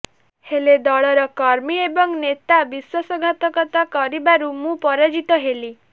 ହେଲେ ଦଳର କର୍ମୀ ଏବଂ ନେତା ବିଶ୍ୱାସଘାତକତା କରିବାରୁ ମୁଁ ପରାଜିତ ହେଲି